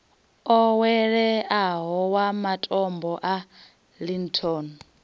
oweleaho wa matombo a linton